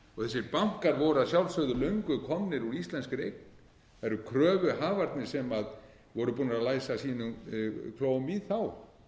þessir bankar voru að sjálfsögðu löngu komnir úr íslenskri eign kröfuhafarnir voru búnir að læsa klóm sínum í þá